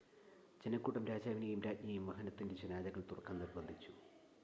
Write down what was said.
ജനക്കൂട്ടം രാജാവിനെയും രാജ്ഞിയെയും വാഹനത്തിൻ്റെ ജനാലകൾ തുറക്കാൻ നിർബന്ധിച്ചു